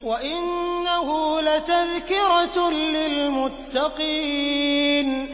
وَإِنَّهُ لَتَذْكِرَةٌ لِّلْمُتَّقِينَ